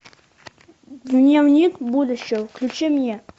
дневник будущего включи мне